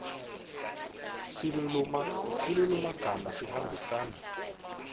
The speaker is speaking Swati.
silulumagama sihambisana